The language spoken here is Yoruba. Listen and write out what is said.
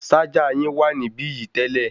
Ṣájà yín wà níbí yìí tẹ́lẹ̀.